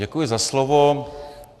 Děkuji za slovo.